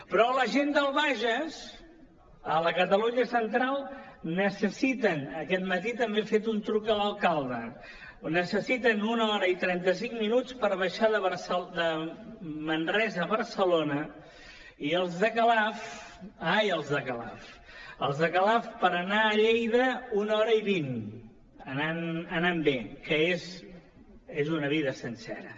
però la gent del bages a la catalunya central necessiten aquest matí també he fet un truc a l’alcalde una hora i trenta cinc minuts per baixar de manresa a barcelona i els de calaf ai els de calaf per anar a lleida una hora i vint anant bé que és una vida sencera